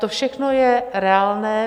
To všechno je reálné.